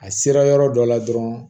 A sera yɔrɔ dɔ la dɔrɔn